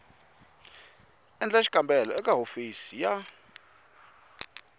endla xikombelo eka hofisi ya